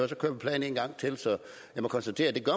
så kører vi pladen en gang til så jeg må konstatere at det